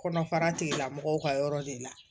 Kɔnɔfara tigilamɔgɔw ka yɔrɔ de la